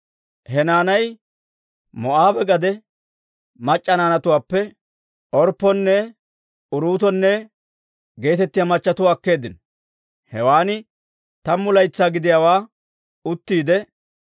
He naanay Moo'aabe gade mac'c'a naanatuwaappe Orpponne Uruutonne geetettiyaa machatuwaa akkeeddino. Hewan tammu laytsaa gidiyaawaa uttiide,